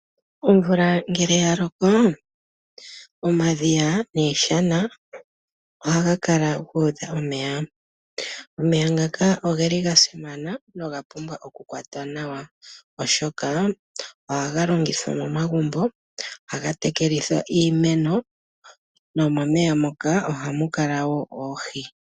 Omvula ngele ya loko, omadhiya niishana ohayi kala yuudha omeya. Omeya ngoka ogeli ga simana, na oga pumbwa oku kwatwa nawa oshoka ohaga longithwa momagumbo, ohaga tekele iimeno, nomomeya moka ohamu kala wo oohi.